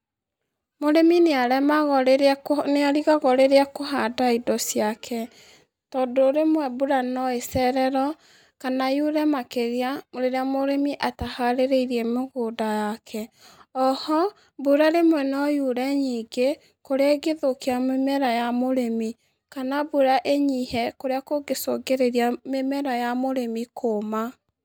Mũrĩmi nĩaremagwo rĩrĩa akũ, nĩarigagwo rĩrĩa akũhanda indo ciake, tondũ rĩmwe mbura noacererwo, kana yure makĩria rĩrĩa mũrĩmi ata harĩrĩirie mũgũnda wake, oho, mbura rímwe noyure nyingĩ, kũrĩa ĩngĩthũkia mĩmera ya mũrĩmi, kana mbura ĩnyihe kũrĩa kũngĩcungĩrĩria mĩmera ya mũrĩmi kũma.